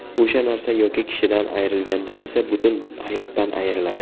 O‘sha narsa yoki kishidan ayrilganda esa butun hayotdan ayriladi.